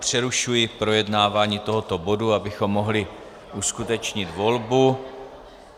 Přerušuji projednávání tohoto bodu, abychom mohli uskutečnit volbu.